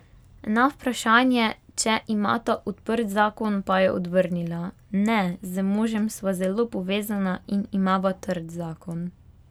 Na vprašanje, če imata odprt zakon, pa je odvrnila: 'Ne, z možem sva zelo povezana in imava trd zakon.